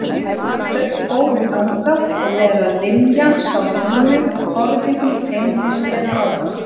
Þau fóru þangað og þegar Linja sá Nínu horfði hún feimnislega á hana.